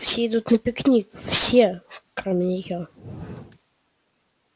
все едут на пикник все кроме нее